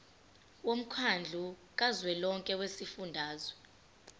womkhandlu kazwelonke wezifundazwe